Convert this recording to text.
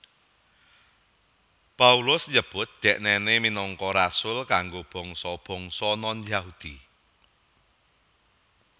Paulus nyebut dhèknèné minangka rasul kanggo bangsa bangsa non Yahudi